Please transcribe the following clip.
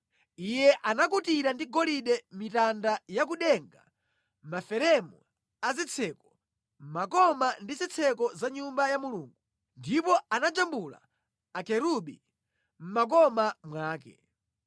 Iye anakutira ndi golide mitanda ya ku denga, maferemu a zitseko, makoma ndi zitseko za Nyumba ya Mulungu, ndipo anajambula Akerubi mʼmakoma mwake.